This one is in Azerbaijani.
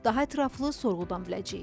Daha ətraflı sorğudan biləcəyik.